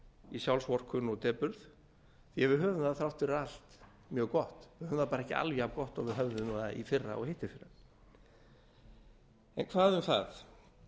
í sjálfsvorkunn og depurð yfir höfuð höfum við þrátt fyrir allt mjög gott við höfum það ekki alveg jafngott og við höfðum það í fyrra og hittiðfyrra en hvað um það